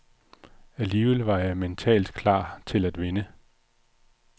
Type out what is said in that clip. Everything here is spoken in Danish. Alligevel var jeg mentalt klar til at vinde.